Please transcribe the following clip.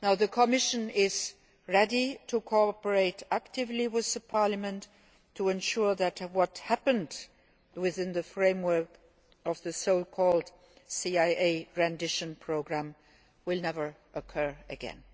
The Commission is ready to cooperate actively with Parliament to ensure that what happened within the framework of the so called CIA rendition programme will never occur again.